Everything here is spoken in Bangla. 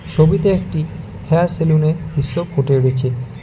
ছবিতে একটি হেয়ার সেলুনের দৃশ্য ফুটে উঠেছে।